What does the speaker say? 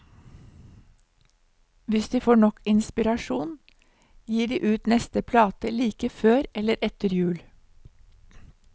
Hvis de får nok inspirasjon, gir de ut neste plate like før eller etter jul.